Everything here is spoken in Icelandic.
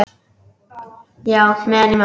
Já, meðan ég man.